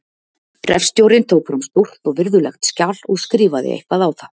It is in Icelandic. Hreppstjórinn tók fram stórt og virðulegt skjal og skrifaði eitthvað á það.